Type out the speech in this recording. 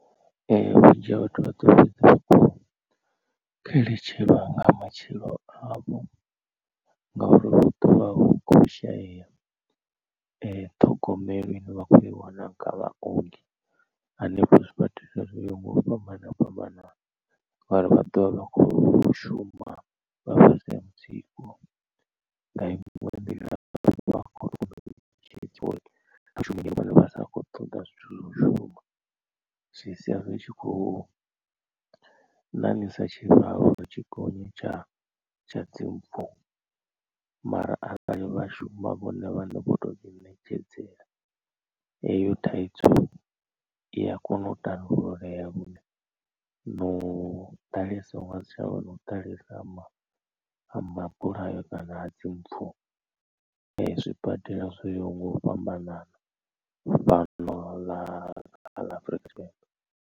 Vhunzhi ha vhathu vha ḓo fhedza vha khou xeletshelwa nga matshilo avho ngauri hu ḓovha hu kho shayeya ṱhogomelo ine vha khou iwana nga vhaongi hanefho zwibadela zwo yaho nga u fhambana fhambanana ngori vha ḓovha vha kho shuma vha fhasi ha mutsiko. Nga iṅwe nḓila vha khou vhashumi vhane vha sa khou ṱoḓa zwithu zwa u shuma zwi sia zwi tshi khou ṋaṋisa tshivhalo uri tshi gonye tsha tsha dzimpfu. Mara arali vhashuma vhone vhaṋe vho tou dzi ṋetshedzela heyo thaidzo i a kona u tandululea lune na u ḓalesa hu ngasi tshavha na u ḓalesa ha mabulayo kana dzi mpfu zwibadela zwo yaho nga u fhambanana fhano ḽa afurika tshipembe.